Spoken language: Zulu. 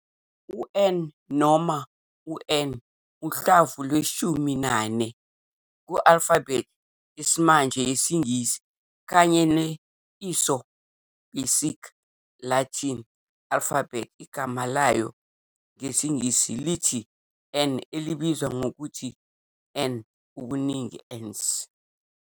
U-N, noma u-n, uhlamvu lweshumi nane ku-alfabhethi yesimanje yesiNgisi kanye ne-ISO basic Latin alphabet. Igama layo ngesiNgisi lithi en, elibizwa ngokuthi en, ubuningi "ens".